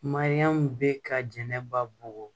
Mariyamu bɛ ka jɛnɛba bugɔ